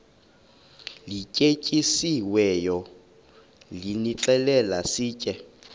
lityetyisiweyo nilixhele sitye